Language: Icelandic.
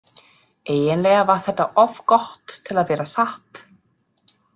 Eiginlega var þetta of gott til að vera satt.